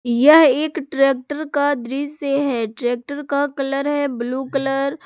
यह एक ट्रैक्टर का दृश्य है ट्रैक्टर का कलर है ब्लू कलर ।